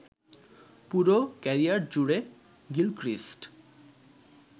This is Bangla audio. পুরো ক্যারিয়ার জুড়ে গিলক্রিস্ট